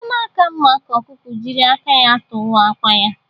Ọ na-aka mma ka ọkụkọ jiri aka ya tụwaa àkwà ya